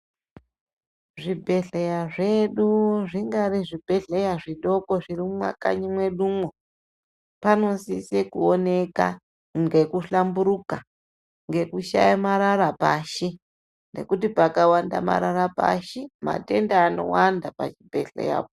Zvibhedhleya zvedu, zvinyari zvibhedhleya zvidoko zviri mumakanyi mwedumwo panosise kuoneka ngekuhlamburuka ngekushaya marara pashi, ngekuti pakawanda marara pashi, matenda anowanda pachibhedhleyapo.